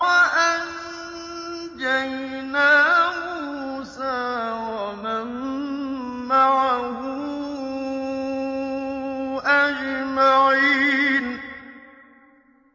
وَأَنجَيْنَا مُوسَىٰ وَمَن مَّعَهُ أَجْمَعِينَ